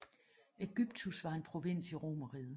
Aegyptus var en provins i Romerriget